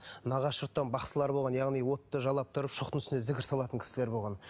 нағашы жұрттан бақсылар болған яғни отты жалап тұрып шоқтың үстіне зікір салатын кісілер болған